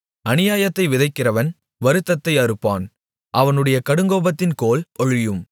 அநியாயத்தை விதைக்கிறவன் வருத்தத்தை அறுப்பான் அவனுடைய கடுங்கோபத்தின் கோல் ஒழியும்